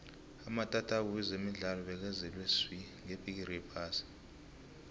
amatatawu wezemidlalo bekazele swi ngebhigiri yephasi ka